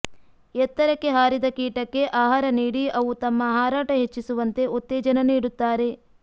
ಎತ್ತರಕ್ಕೆ ಹಾರಿದ ಕೀಟಕ್ಕೆ ಆಹಾರ ನೀಡಿ ಅವು ತಮ್ಮ ಹಾರಾಟ ಹೆಚ್ಚಿಸುವಂತೆ ಉತ್ತೇಜನ ನೀಡುತ್ತಾರೆ